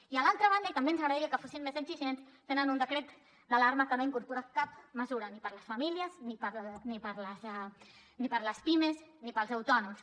i a l’altra banda i també ens agradaria que fossin més exigents tenen un decret d’alarma que no incorpora cap mesura ni per a les famílies ni per a les pimes ni per als autònoms